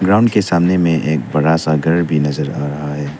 Ground के सामने में एक बड़ा सा घर भी नजर आ रहा है।